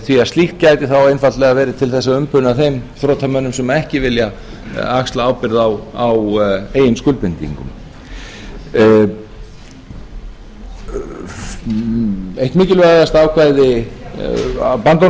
því að slíkt gæti þá einfaldlega verið til þess að umbuna þeim þrotamönnum sem ekki vilja axla ábyrgð á eigin skuldbindingum eitt mikilvægasta ákvæði bandormsins er